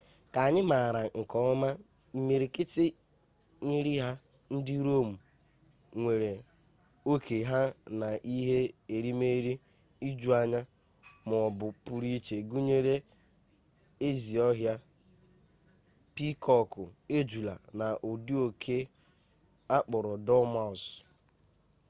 ka anyị maara nke ọma imirikiti nri ha ndị rom nwere oke ha na ihe erimeeri ijuanya ma ọ bụ pụrụ iche gụnyere ezi ọhịa piikọkụ ejula na ụdị oke akpọrọ dormouse